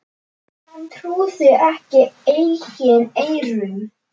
Hann trúði ekki eigin eyrum.